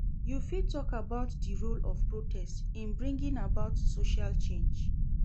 You fit talk about di role of protest in bringing about social change.